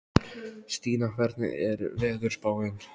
Stína, hvernig er veðurspáin?